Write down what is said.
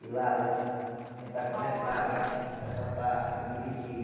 E lá, para gente tentar conversar, e ta ta ta, para dividir.